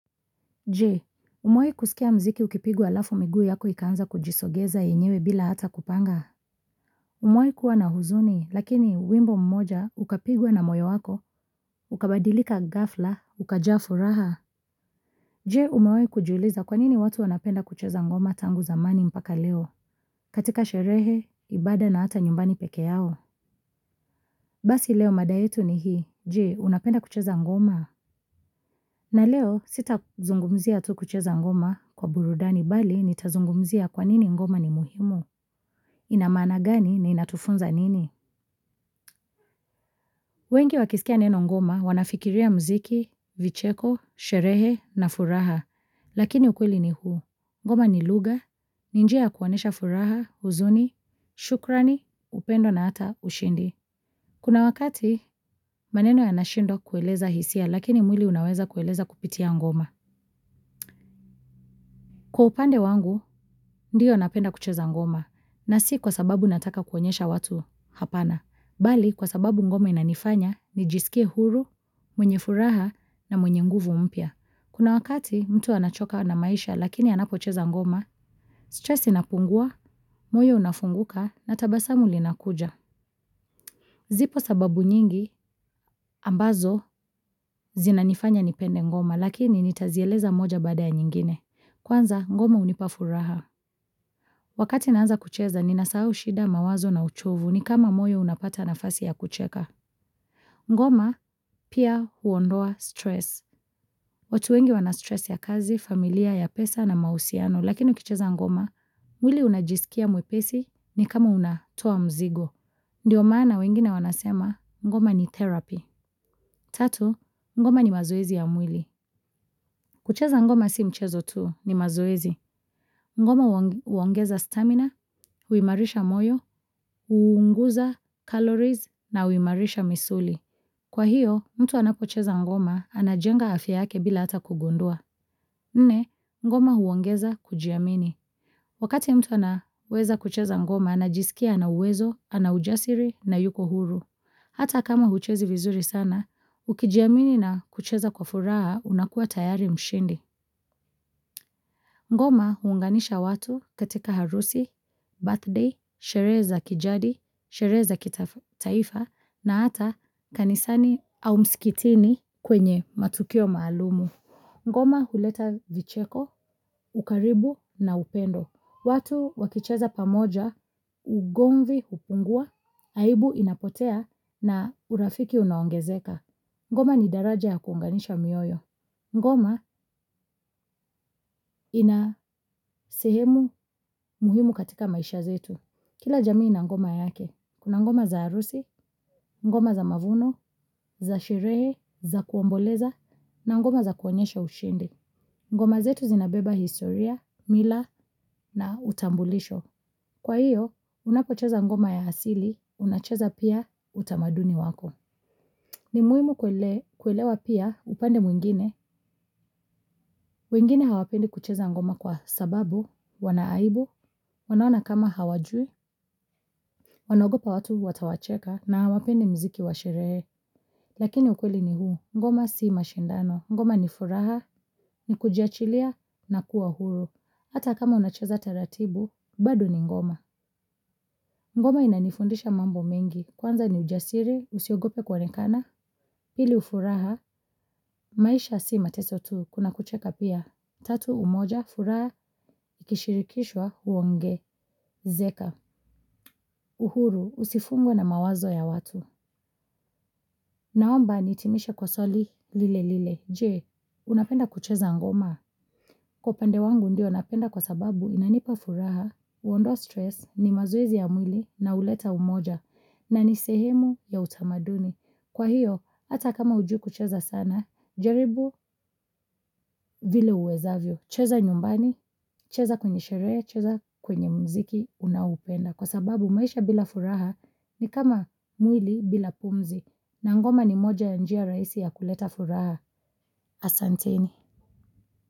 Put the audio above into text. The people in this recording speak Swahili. Jee umewai kusikia mziki ukipigwa alafu miguu yako ikaanza kujisogeza yenyewe bila hata kupanga. Umewai kuwa na huzuni lakini wimbo mmoja ukapigwa na moyo wako ukabadilika ghafla ukajaa furaha. Jee umewai kujuliza kwa nini watu wanapenda kucheza ngoma tangu zamani mpaka leo. Katika sherehe ibada na hata nyumbani peke yao. Basi leo mada yetu ni hii jee unapenda kucheza ngoma. Na leo sitazungumzia tu kucheza ngoma kwa burudani bali nitazungumzia kwa nini ngoma ni muhimu, ina maana gani na inatufunza nini. Wengi wakisikia neno ngoma wanafikiria mziki, vicheko, sherehe na furaha, lakini ukweli ni huu. Ngoma ni lugha, ni njia ya kuonesha furaha, huzuni, shukrani, upendo na hata ushindi. Kuna wakati maneno yanashindwa kueleza hisia lakini mwili unaweza kueleza kupitia ngoma. Kwa upande wangu, ndiyo napenda kucheza ngoma, na si kwa sababu nataka kuonyesha watu hapana. Bali, kwa sababu ngoma inanifanya, nijisikie huru, mwenye furaha, na mwenye nguvu mpya. Kuna wakati, mtu anachoka na maisha, lakini anapocheza ngoma, stress inapungua, moyo unafunguka, na tabasamu linakuja. Zipo sababu nyingi, ambazo, zinanifanya nipende ngoma, lakini nitazieleza moja baada ya nyingine. Kwanza, ngoma hunipa furaha. Wakati naanza kucheza ninasahau shida mawazo na uchovu ni kama moyo unapata nafasi ya kucheka. Ngoma pia huondoa stress. Watu wengi wana stress ya kazi, familia, ya pesa na mahusiano lakini ukicheza ngoma, mwili unajisikia mwepesi ni kama unatoa mzigo. Ndiyo maana wengine wanasema ngoma ni therapy. Tatu, ngoma ni mazoezi ya mwili. Kucheza ngoma si mchezo tuu ni mazoezi. Ngoma huongeza stamina, huimarisha moyo, huunguza, calories, na huimarisha misuli. Kwa hiyo, mtu anapocheza ngoma, anajenga afya yake bila hata kugundua. Nne, ngoma huongeza kujiamini. Wakati mtu anaweza kucheza ngoma, anajisikia na uwezo, ana ujasiri, na yuko huru. Hata kama huchezi vizuri sana, ukijiamini na kucheza kwa furaha unakua tayari mshindi. Ngoma huunganisha watu katika harusi, birthday, sherehe za kijadi, sherehe za kitaifa na hata kanisani au msikitini kwenye matukio maalumu. Ngoma huleta vicheko, ukaribu na upendo. Watu wakicheza pamoja, ugomvi hupungua, aibu inapotea na urafiki unaongezeka. Ngoma ni daraja ya kuunganisha mioyo. Ngoma ina sehemu muhimu katika maisha zetu. Kila jamii ina ngoma yake. Kuna ngoma za harusi, ngoma za mavuno, za sherehe, za kuomboleza, na ngoma za kuonyesha ushindi. Ngoma zetu zinabeba historia, mila na utambulisho. Kwa hiyo, unapocheza ngoma ya asili, unacheza pia utamaduni wako. Ni muhimu kuelewa pia upande mwingine, wengine hawapendi kucheza ngoma kwa sababu, wana aibu, wanaona kama hawajui, wanagopa watu watawacheka na hawapendi mziki wa sherehe. Lakini ukweli ni huu, ngoma si mashindano, ngoma ni furaha, ni kujachilia na kuwa huru. Hata kama unacheza taratibu, bado ni ngoma. Ngoma inanifundisha mambo mengi, kwanza ni ujasiri, usiogope kuonekana, pili furaha, maisha si mateso tu, kuna kucheka pia, tatu umoja, furaha, ikishirikishwa, huongezeka, uhuru, usifungwe na mawazo ya watu. Naomba nihitimishe kwa swali lile lile. Jee, unapenda kucheza ngoma. Kwa upande wangu ndio napenda kwa sababu inanipa furaha. Huondoa stress ni mazoezi ya mwili na huleta umoja na ni sehemu ya utamaduni. Kwa hiyo, hata kama hujui kucheza sana, jaribu vile uwezavyo. Cheza nyumbani, cheza kwenye sherehe, cheza kwenye mziki unaoupenda. Kwa sababu maisha bila furaha ni kama mwili bila pumzi na ngoma ni moja ya njia rahisi ya kuleta furaha asanteni.